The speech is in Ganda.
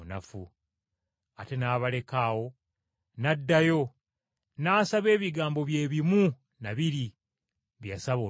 Ate n’abaleka awo n’addayo, n’asaba ebigambo bye bimu na biri bye yasaba olubereberye.